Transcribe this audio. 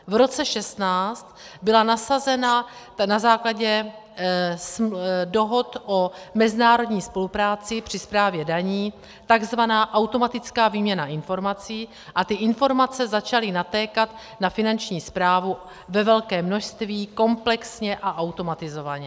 V roce 2016 byla nasazena na základě dohod o mezinárodní spolupráci při správě daní tzv. automatická výměna informací a ty informace začaly natékat na Finanční správu ve velkém množství, komplexně a automatizovaně.